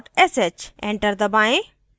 enter दबाएँ